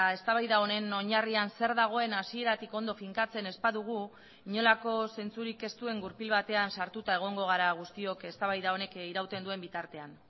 eztabaida honen oinarrian zer dagoen hasieratik ondo finkatzen ez badugu inolako zentzurik ez duen gurpil batean sartuta egongo gara guztiok eztabaida honek irauten duen bitartean